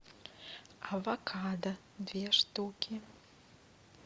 авокадо две штуки